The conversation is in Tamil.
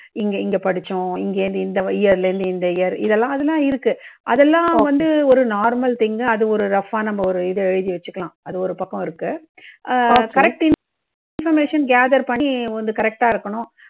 இங்க இங்க படிச்சோம். இங்க இருந்து இந்த year லேந்து இந்த year இதெல்லாம் அதெல்லாம் இருக்கு அதெல்லாம் வந்து ஒரு normal thing அது ஒரு rough ஆ நம்ம ஒரு இது எழுதி வெச்சுக்கலாம். அது ஒரு பக்கம் இருக்கு. ஆஹ் correct information gather பண்ணி வந்து correct டா இருக்கணும்.